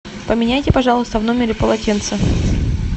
поменяйте пожалуйста в номере полотенце